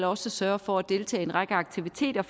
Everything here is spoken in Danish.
også sørge for at deltage i en række aktiviteter